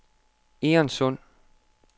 Egernsund